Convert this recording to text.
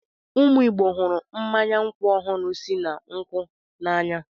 Ụmụ Igbo hụrụ mmanya nkwụ ọhụrụ si na nkwụ n'anya.